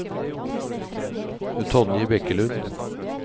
Tonje Bekkelund